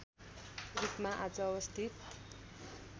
रूपमा आज अवस्थित